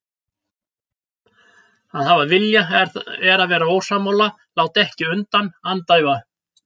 Að hafa vilja er að vera ósammála, láta ekki undan, andæfa.